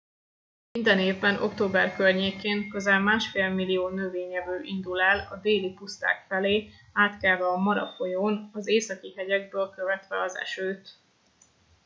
minden évben október környékén közel másfél millió növényevő indul el a déli puszták felé átkelve a mara folyón az északi hegyekből követve az esőt